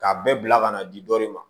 K'a bɛɛ bila ka na di dɔ de ma